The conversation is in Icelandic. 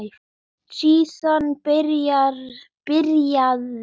Síðan byrjaði